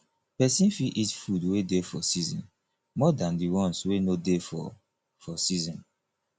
person fit eat food wey dey for season more than di ones wey no dey for for season